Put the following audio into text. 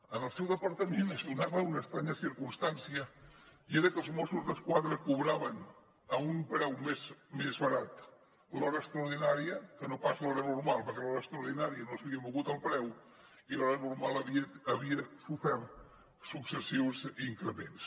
en el seu departament es donava una estranya circumstància i era que els mossos d’esquadra cobraven a un preu més barat l’hora extraordinària que no pas l’hora normal perquè de l’hora extraordinària no s’havia mogut el preu i la normal havia sofert successius increments